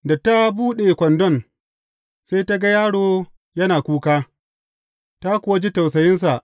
Da ta buɗe kwandon, sai ta ga yaro yana kuka, ta kuwa ji tausayinsa.